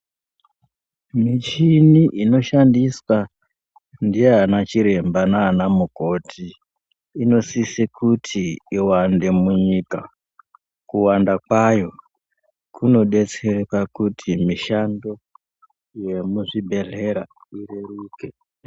Michini inoshandiswa nanachiremba kana nanamukoti inosise kuti iwande munyika kuwanda kwayo kunobetsera kuti mishando yemuzvibhedhlera ireruke